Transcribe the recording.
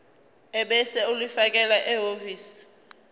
ebese ulifakela ehhovisi